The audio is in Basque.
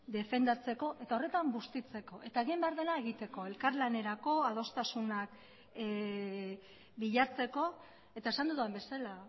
defendatzeko eta horretan bustitzeko eta egin behar dena egiteko elkarlanerako adostasunak bilatzeko eta esan dudan bezala